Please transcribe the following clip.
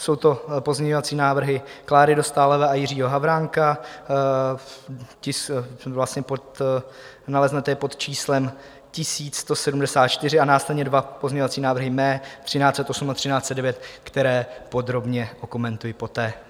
Jsou to pozměňovací návrhy Kláry Dostálové a Jiřího Havránka, naleznete je pod číslem 1174, a následně dva pozměňovací návrhy mé, 1308 a 1309, které podrobně okomentují poté.